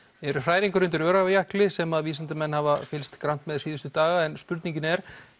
eru hræringar undir Öræfajökli sem að vísindamenn hafa fylgst grannt með síðustu daga en spurningin er